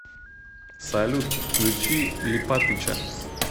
салют включи липатыча